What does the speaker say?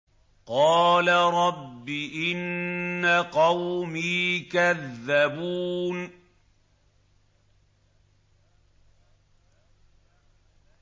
قَالَ رَبِّ إِنَّ قَوْمِي كَذَّبُونِ